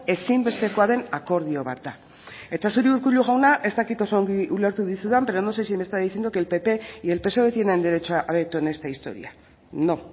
ezinbestekoa den akordio bat da eta zuri urkullu jauna ez dakit oso ondo ulertu dizudan pero no sé si me está diciendo que el pp y el psoe tienen derecho a veto en esta historia no